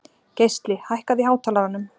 Geisli, hækkaðu í hátalaranum.